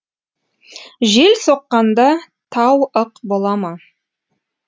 жел соққанда тау ық бола ма